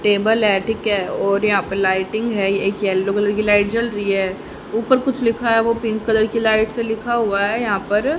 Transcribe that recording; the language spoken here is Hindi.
टेबल ऐथीक है और यहां पे लाइटिंग है एक येलो कलर की लाइट जल रही है ऊपर कुछ लिखा हुआ पिंक कलर की लाइट से लिखा हुआ है यहां पर --